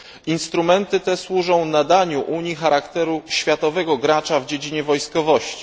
Instrumenty te służą nadaniu Unii charakteru światowego gracza w dziedzinie wojskowości.